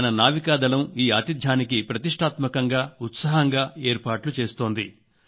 మన నావికాదళం ఈ ఆతిథ్యానికి ప్రతిష్టాత్మకంగా ఉత్సాహంగా ఏర్పాట్లు చేస్తోంది